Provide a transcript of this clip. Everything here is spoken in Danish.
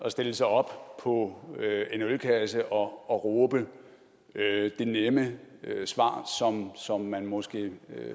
at stille sig op på en ølkasse og råbe det nemme svar som man måske